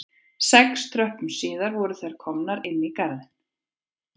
Sex tröppum síðar voru þær komnar inn í garðinn